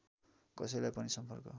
कसैलाई पनि सम्पर्क